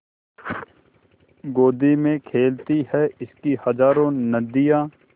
गोदी में खेलती हैं इसकी हज़ारों नदियाँ